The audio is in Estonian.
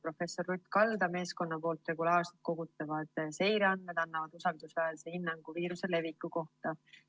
Professor Ruth Kalda meeskonna regulaarselt kogutavad seireandmed annavad usaldusväärse hinnangu viiruse leviku kohta.